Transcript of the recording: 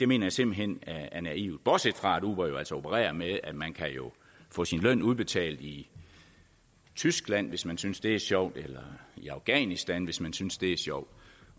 mener jeg simpelt hen er naivt bortset fra at uber jo altså opererer med at man kan få sin løn udbetalt i tyskland hvis man synes det er sjovt eller i afghanistan hvis man synes det er sjovt